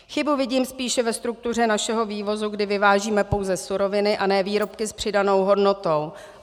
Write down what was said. Chybu vidím spíše ve struktuře našeho vývozu, kdy vyvážíme pouze suroviny a ne výrobky s přidanou hodnotou.